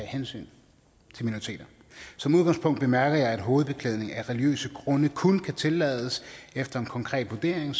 hensyn til minoriteter som udgangspunkt bemærker jeg at hovedbeklædning af religiøse grunde kun kan tillades efter en konkret vurdering